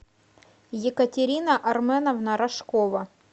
екатерина арменовна рожкова